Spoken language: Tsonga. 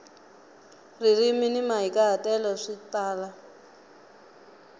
ririmi ni mahikahatelo swi tala